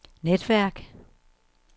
netværk